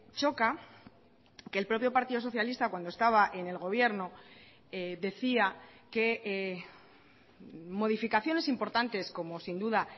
choca que el propio partido socialista cuando estaba en el gobierno decía que modificaciones importantes como sin duda